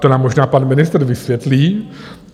To nám možná pan ministr vysvětlí.